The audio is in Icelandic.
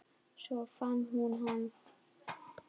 Svo fann hún hann.